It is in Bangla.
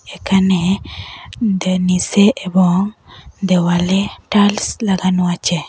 এখানে দে-নিচে এবং দেওয়ালে টাইলস লাগানো আছে।